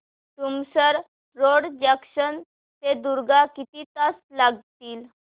Tumsar road junction ते दुर्ग किती तास लागतील